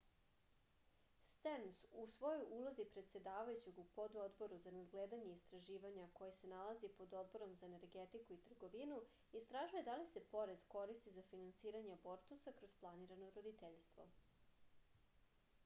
sterns u svojoj ulozi predsedavajućeg u pododboru za nadgledanje i istraživanja a koji se nalazi pod odborom za energetiku i trgovinu istražuje da li se porez koristi za finansiranje abortusa kroz planirano roditeljstvo